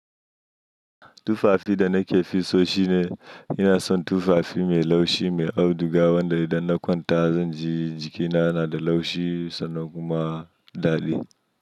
Tufafi da nake fi so shine ina son tufafi mai laushi, mai auduga wanda idan na kwanta zan ji jikina yana da laushi sannan kuma daɗi.